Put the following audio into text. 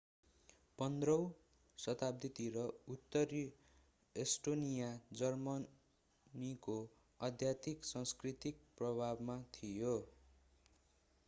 15 औं शताब्दीतिर उत्तरी एस्टोनिया जर्मनीको अत्याधिक सांस्कृतिक प्रभावमा थियो